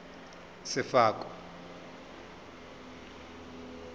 sefako